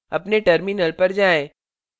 अपने terminal पर जाएँ